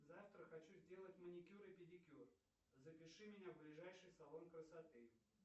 завтра хочу сделать маникюр и педикюр запиши меня в ближайший салон красоты